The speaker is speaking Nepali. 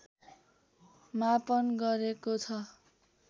मापन गरेको छ